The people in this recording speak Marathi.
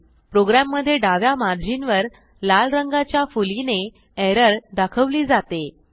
प्रोग्रॅममधे डाव्या मार्जिनवर लाल रंगाच्या फुलीने एरर दाखवली जाते